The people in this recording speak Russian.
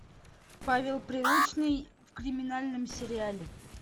павел прилучный в криминальном сериале